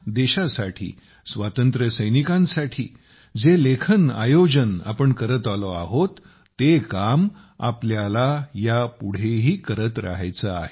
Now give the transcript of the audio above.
देशासाठी स्वातंत्र्यसैनिकांसाठी जे लेखन आयोजन आपण करत आलो आहोत ते काम आपल्याला यापुढेही करत राहायचे आहे